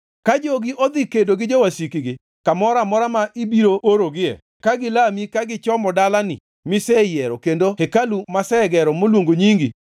“Ka jogi odhi kedo gi jowasikgi kamoro amora ma ibiro orogie ka gilami kagichomo dalani miseyiero kendo hekalu masegero maluongo nyingi,